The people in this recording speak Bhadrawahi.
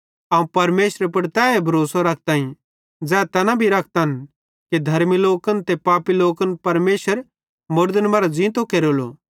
अवं परमेशरे पुड़ तैए भरोसो रखताईं ज़ै तैना रखतन कि धर्मी लोकन ते पापी लोकन परमेशर मुड़दन मरां ज़ींतो केरेलो